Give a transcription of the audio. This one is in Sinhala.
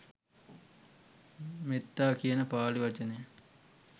මෙත්තා කියන පාලි වචනය